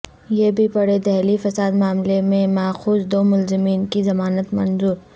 یہ بھی پڑھیں دہلی فساد معاملے میں ماخوذ دو ملزمین کی ضمانت منظور